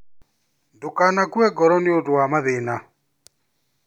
Ndukanakue ngoro nĩũndũ wa mathĩna